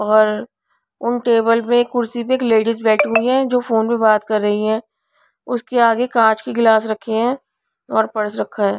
और उन टेबल में कुर्सी पर एक लेडीज बैठी हुई है जो फोन पर बात कर रही है उसके आगे कांच के गिलास रखे हैं और पर्स रखा है.